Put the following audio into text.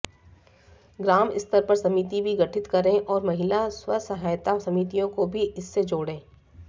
ग्राम स्तर पर समिति भी गठित करें और महिला स्वसहायता समितियों को भी इससे जोंड़े